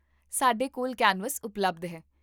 ਸਾਡੇ ਕੋਲ ਕੈਨਵਸ ਉਪਲਬਧ ਹੈ